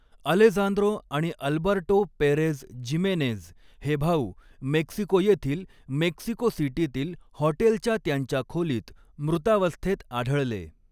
Alejandro आणि Alberto Perez Jimenez हे भाऊ मेक्सिको येथील मेक्सिको सिटीतील हॉटेलच्या त्यांच्या खोलीत मृतावस्थेत आढळले.